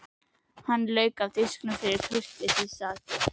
Hann lauk af disknum fyrir kurteisissakir.